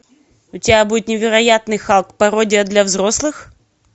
у тебя будет невероятный халк пародия для взрослых